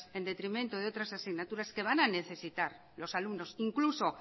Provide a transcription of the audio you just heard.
en detrimentos de otras asignaturas que van a necesitar los alumnos incluso